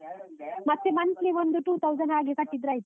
ಮತ್ತೆ monthly ಒಂದು two thousand ಹಾಗೆ ಕಟ್ಟಿದ್ರೆ ಆಯ್ತಾ?